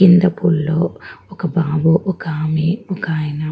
కింద పూల్ లో ఒక బాబు ఒక ఆమె ఒక ఆయన --